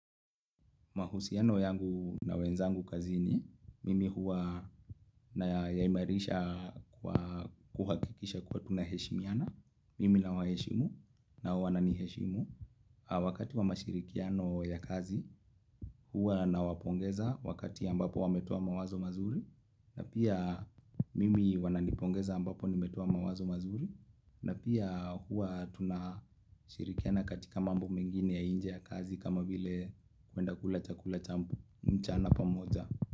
Mahusiano yangu na wenzangu kazini, mimi huwa na yaimarisha kwa kuhakikisha kuwa tunaheshimiana, mimi na waheshimu nao wa na niheshimu. Wakati wa mashirikiano ya kazi, huwa na wapongeza wakati ambapo wametoa mawazo mazuri, na pia mimi wananipongeza ambapo nimetoa mawazo mazuri, na pia huwa tunashirikiana katika mambo mengine ya inje ya kazi kama vile kwenda kula chakula cha mchana pamoja.